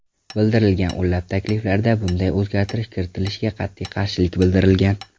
Bildirilgan o‘nlab takliflarda bunday o‘zgartirish kiritilishiga qat’iy qarshilik bildirilgan.